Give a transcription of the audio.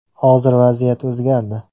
Hozir vaziyat o‘zgardi.